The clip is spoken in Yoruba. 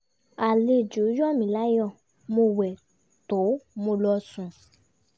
àlejò yọ mí láyọ mo wẹ tó mo lọ sùn